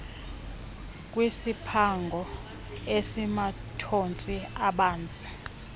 kwesiphango esimathontsi abanzi